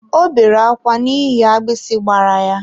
Ọ bere akwa n'ihi agbisi gbara ya.